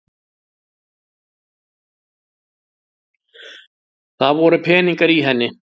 Það voru peningar í henni!